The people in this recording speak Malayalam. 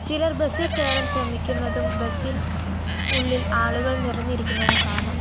ചിലർ ബസ്സിൽ കയറാൻ ശ്രമിക്കുന്നതും ബസ്സിൽ ഉള്ളിൽ ആളുകൾ നിറഞ്ഞിരിക്കുന്നതും കാണാം.